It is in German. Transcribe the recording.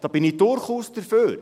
Da bin ich durchaus dafür.